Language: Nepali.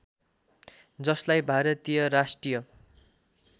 जसलाई भारतीय राष्ट्रिय